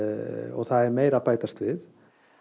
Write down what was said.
og það er meira að bætast við